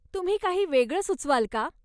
तुम्ही काही वेगळ सुचवाल का?